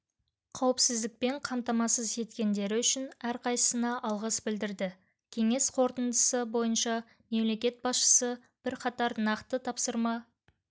қауіпсіздікпен қамтамасыз еткендері үшін әрқайсысына алғыс білдірді кеңес қорытындысы бойынша мемлекет басшысы бірқатар нақты тапсырма